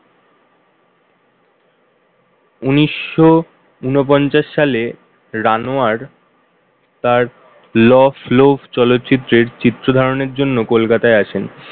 উনিশশো ঊনপঞ্চাশ সালে Ranoyar তার low flow চলচ্চিত্রের চিত্র ধারণের জন্য কলকাতায় আসেন।